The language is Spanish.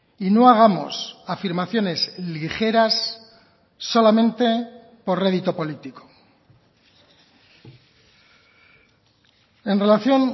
y no hagamos afirmaciones ligeras solamente por rédito político en relación